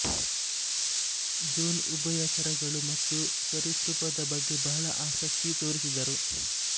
zone ಉಭಯಚರಗಳು ಮತ್ತು ಸರೀಸೃಪದ ಬಗ್ಗೆ ಬಹಳ ಆಸಕ್ತಿ ತೋರಿಸಿದರು